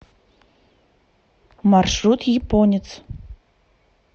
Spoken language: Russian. маршрут японец